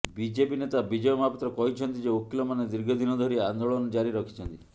BJP ନେତା ବିଜୟ ମହାପାତ୍ର କହିଛନ୍ତି ଯେ ଓକିଲମାନେ ଦୀର୍ଘଦିନ ଧରି ଆନେ୍ଦାଳନ ଜାରି ରଖିଛନ୍ତି